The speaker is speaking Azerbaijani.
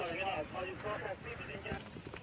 Ağdağ, yəni aparıb çəkin gəl.